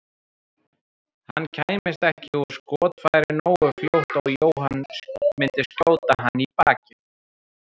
Hann kæmist ekki úr skotfæri nógu fljótt og Jóhann myndi skjóta hann í bakið.